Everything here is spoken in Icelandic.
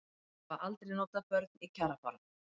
Hafa aldrei notað börn í kjarabaráttu